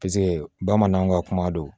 Paseke bamananw ka kuma don